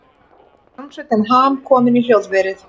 Hljómsveitin Ham komin í hljóðverið